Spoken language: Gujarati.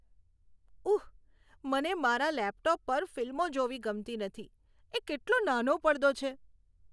ઉહ, મને મારા લેપટોપ પર ફિલ્મો જોવી ગમતી નથી. એ કેટલો નાનો પડદો છે.